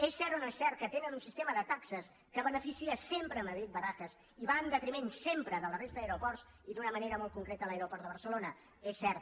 és cert o no és cert que tenen un sistema de taxes que beneficia sempre madrid barajas i va en detriment sempre de la resta d’aeroports i d’una manera molt concreta de l’aeroport de barcelona és cert